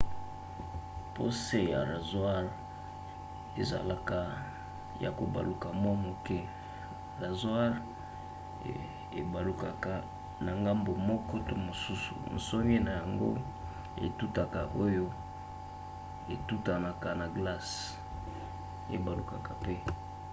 po se ya razware ezalaka ya kobaluka mwa moke razware ebalukaka na ngambu moko to mosusu nsonge na yango etutaka oyo etutanaka na glace ebalukaka mpe